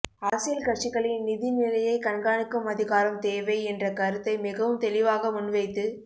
அரசியல் கட்சிகளின் நிதிநிலையைக் கண்காணிக்கும் அதிகாரம் தேவை என்ற கருத்தை மிகவும் தெளிவாக முன்வைத்து